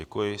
Děkuji.